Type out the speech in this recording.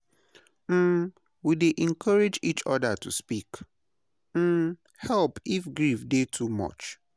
um We dey encourage each oda to seek um help if grief dey too much.